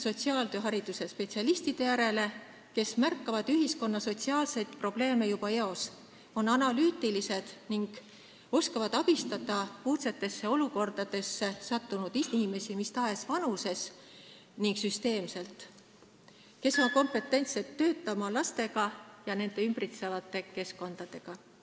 ... sotsiaaltööharidusega spetsialistide järele, kes märkavad ühiskonna sotsiaalseid probleeme juba eos, on analüütilised ning oskavad abistada uudsesse olukorda sattunud inimesi mis tahes vanuses ja süsteemselt, on kompetentsed töötama lastega ja tegelema nende lähikeskkonnaga.